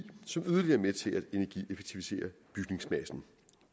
som yderligere er med til energieffektivisere bygningsmassen